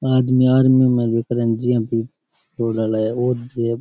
आदमी आदमी में --